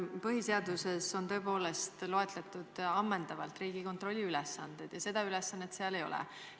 Põhiseaduses on tõepoolest ammendavalt loetletud Riigikontrolli ülesanded ja seda ülesannet seal ei ole.